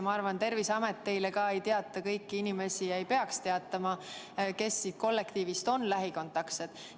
Ma arvan, et Terviseamet ei teavita ega peagi teavitama teid kõigist inimestest, kes kollektiivis on lähikontaksed.